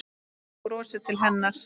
Hún brosir til hennar.